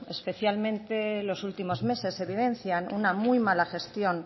especialmente en los últimos meses evidencian una muy mala gestión